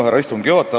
Härra istungi juhataja!